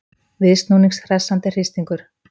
Viðsnúnings hressandi hristingur